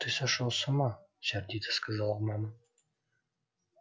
ты сошёл с ума сердито сказала мама